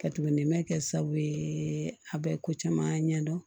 Ka tuguni mɛ kɛ sababu ye a bɛ ko caman ɲɛdɔn